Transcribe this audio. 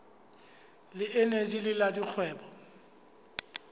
le eneji le la dikgwebo